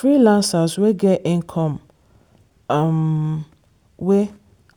freelancers wey get income um wey